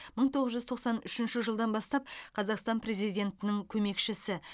мың тоғыз жүз тоқсан үшінші жылдан бастап қазақстан президентінің көмекшісі